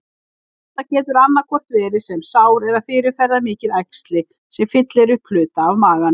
Það getur annaðhvort verið sem sár eða fyrirferðarmikið æxli, sem fyllir upp hluta af maganum.